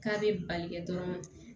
K'a bɛ bali kɛ dɔrɔn